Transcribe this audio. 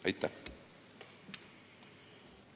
Aitäh!